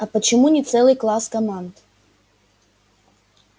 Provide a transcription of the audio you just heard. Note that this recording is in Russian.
а почему не целый класс команд